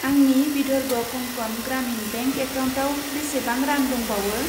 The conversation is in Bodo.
आंनि विधर्व कंकन ग्रामिन बेंक एकाउन्टाव बेसेबां रां दंबावो?